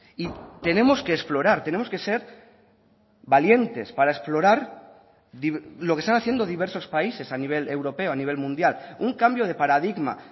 y tenemos que explorar tenemos que ser valientes para explorar lo que están haciendo diversos países a nivel europeo a nivel mundial un cambio de paradigma